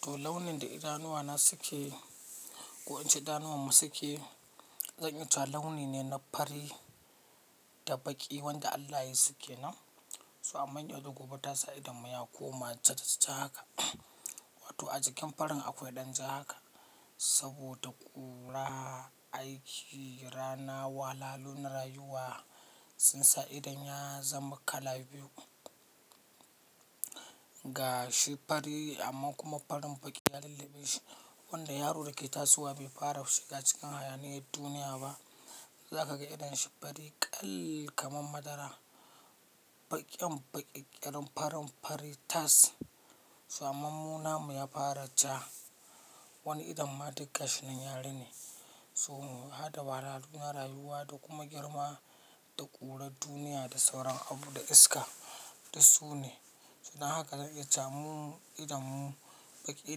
To launin da idanuwana suke, ko in ce idanunmu suke, zan iya cewa launi ne na fari da baƙi, wanda Allah ya yi suke nan. So amma yau da gobe ta sa idan mu ya koma ja-ja ja, haka. Wato a jikin farin akwai ɗan ja, haka, saboda ƙura, aiki, rana, wahalhalu na rayuwa, sun sa idon ya zama kala biyu. Ga shi fari amma kuma farin baƙi ya lullube shi. Wanda yaro da ke tasowa, bai fara shiga cikin hayaniyyar duniya ba, za ka ga idon shi fari ƙall, kamar madara. Baƙin baƙi ƙirin farin fari tas. So amma mu na mu ya fara ja. Wani idan ma duk gashin nan ya rine. So mu hadda wahalhalu na rayuwa, da kuma girma, da ƙurar duniya da sauran abu da iska dus su ne. Dan haka zan iya cewa mu idanmu, baƙi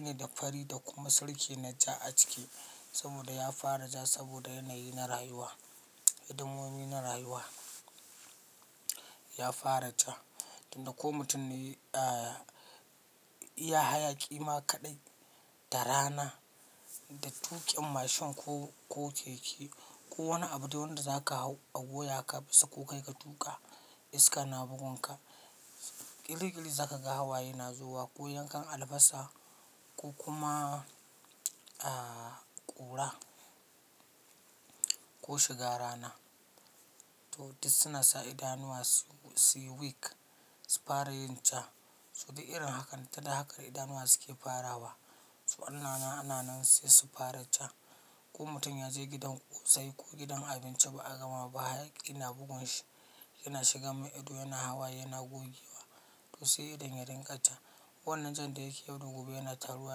ne da fari da kuma sirki na ja, a ciki, saboda ya fara jah, saboda yanayi na rayuwa, hidimomi na rayuwa ya fara jah. Tinda ko mutum ne, ah, iya hayaƙi ma kaɗai, da rana, da tuƙin mashin ko, ko keke ko wani abu dai wanda zaka hau a goya ka bisa, ko kai k tuƙa iska na bugun ka, ƙiri ƙiri za ka ga hawaye na zubo wa, ko yankan albasa ko kuma, ah, ƙura. Ko shiga rana. To duk su na sa idanuwa su, su yi weak, su fara yin ja. So duk irin hakan, ta da haka idanuwa suke farawa. To ananan ananan sai su fara ja. Ko mutum ya je gidan ƙosai ko gidan abinci ba a gama ba, hayaki yana bugun shi. Yana shiga mai ido, yana hawaye yana gogewa. To sai idon ya dinga ja. Wannan jan da yake yau da gobe yana taruwa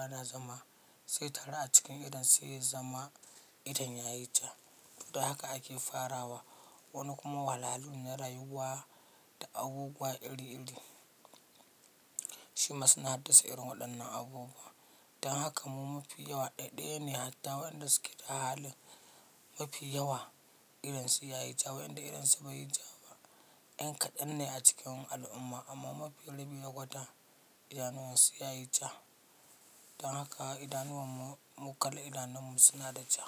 yana zama, sai ya taru a cikin idon sai ya zama idon ya yi ja. To da haka ake farawa. Wani kuma wahalhalu ne na rayuwa, da abubuwa iri iri, shi ma suna haddasa irin waɗannan abubuwa. Dan haka mu mafi yawa ɗaiɗaya ne hatta waɗanda suke da halin. Mafi yawa idonsu ya yi ja, waƴanda idonsu bai yi ja ba. Yan kaɗan ne a cikin al'umma, amma mafi rabi ya kwata, idanuwan su ya yi ja. Dan haka idanuwan mu, mu kala idanunmu suna da ja.